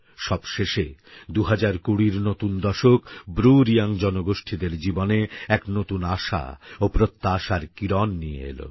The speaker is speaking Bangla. সবশেষে ২০২০র নতুন দশক ব্রুরিয়াং জনগোষ্ঠীদের জীবনে এক নতুন আশা ও প্রত্যাশার কিরণ নিয়ে এলো